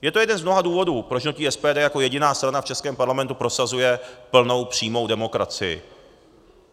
Je to jeden z mnoha důvodů, proč hnutí SPD jako jediná strana v českém parlamentu prosazuje plnou přímou demokracii.